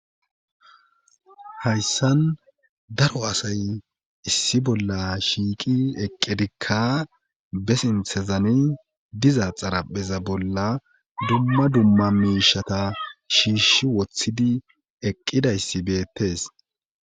Hayssan daro asay issi bolla shiiqi eqqedikka be sinthezani diza xarapheza bolla dumma dumma miishata shiishi woththidi eqqidayssi beettes.